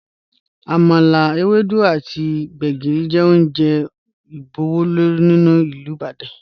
Àmàlà, èwèdú àtì gbẹ̀gìrì jẹ ọ̀un jẹ́ ọ́njè ìbùwọ̀lú ni Ilú Ìbàdàn.